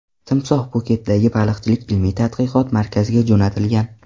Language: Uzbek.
Timsoh Pxuketdagi baliqchilik ilmiy-tadqiqot markaziga jo‘natilgan.